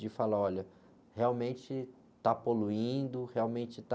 De falar, olha, realmente está poluindo, realmente está...